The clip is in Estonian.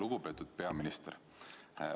Lugupeetud peaminister!